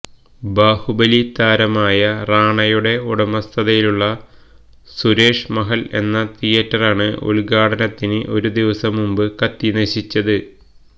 ബാഹുബലി താരമായ റാണയുടെ ഉടമസ്ഥതയിലുള്ള സുരേഷ് മഹല് എന്ന തിയറ്ററാണ് ഉദ്ഘാടനത്തിന് ഒരു ദിവസം മുമ്പ് കത്തി നശിച്ചത്